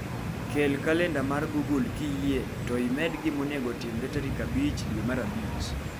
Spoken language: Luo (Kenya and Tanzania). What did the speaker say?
Kel kalenda mar google kiyie, med gima onego otimre tarik abich dwe mar abich.